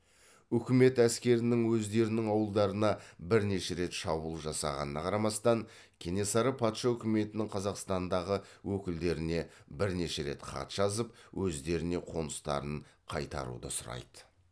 үкімет әскерінің өздерінің ауылдарына бірнеше рет шабуыл жасағанына қарамастан кенесары патша үкіметінің қазақстаңдағы өкілдеріне бірнеше рет хат жазып өздеріне қоныстарын қайтаруды сұрайды